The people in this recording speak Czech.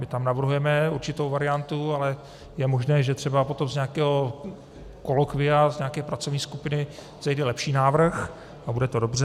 My tam navrhujeme určitou variantu, ale je možné, že třeba potom z nějakého kolokvia, z nějaké pracovní skupiny vzejde lepší návrh a bude to dobře.